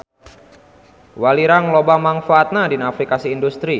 Walirang loba mangpaatna dina aplikasi industri.